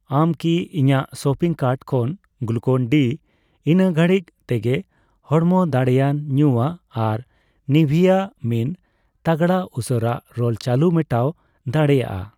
ᱟᱢ ᱠᱤ ᱤᱧᱟᱜ ᱥᱚᱯᱤᱝ ᱠᱟᱨᱴ ᱠᱷᱚᱱ ᱜᱞᱩᱠᱚᱱᱼᱰᱤ ᱤᱱᱟᱹ ᱜᱷᱟᱹᱲᱤᱡ ᱛᱮᱜᱮ ᱦᱚᱲᱢᱚ ᱫᱟᱲᱮᱭᱟᱱ ᱧᱩᱣᱟᱹᱜ ᱟᱨ ᱱᱤᱵᱷᱤᱭᱟ ᱢᱤᱱ ᱛᱟᱜᱲᱟ ᱩᱥᱟᱹᱨᱟ ᱨᱳᱞ ᱪᱟᱞᱩ ᱢᱮᱴᱟᱣ ᱫᱟᱲᱮᱭᱟᱜᱼᱟ?